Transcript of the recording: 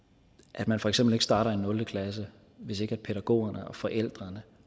at man for eksempel ikke starter i nul klasse hvis ikke pædagogerne og forældrene